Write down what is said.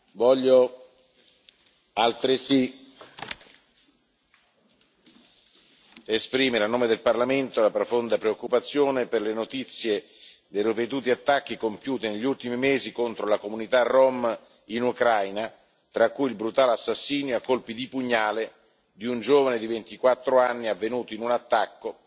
Voglio altresì esprimere, a nome del Parlamento, la profonda preoccupazione per le notizie dei ripetuti attacchi compiuti negli ultimi mesi contro la comunità rom in Ucraina, tra cui il brutale assassinio a colpi di pugnali di un giovane di 24 anni, avvenuto in un attacco